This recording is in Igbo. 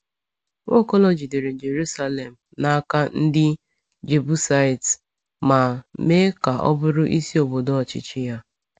Nwaokolo jidere Jerusalem n’aka ndị Jebusait ma mee ka ọ bụrụ isi obodo ọchịchị ya.